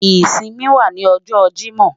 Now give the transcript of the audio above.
Isinmi wa ni ọjọ Jimọ